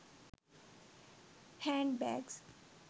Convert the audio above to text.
hand bags